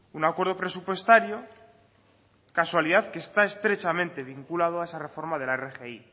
un acuerdo presupuestario casualidad que está estrechamente vinculado a esa reforma de la rgi